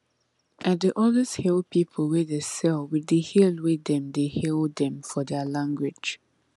i dey always hail people wey dey sell with the hail wey dem dey hail dem for their language